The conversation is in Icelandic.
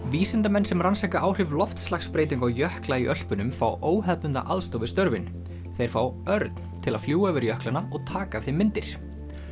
vísindamenn sem rannsaka áhrif loftslagsbreytinga á jökla í Ölpunum fá óhefðbundna aðstoð við störfin þeir fá Örn til að fljúga yfir jöklana og taka af þeim myndir